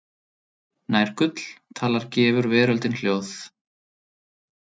Nær gull talar gefur veröldin hljóð.